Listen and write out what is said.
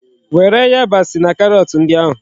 Were yabasi na karọt ndị ahụ!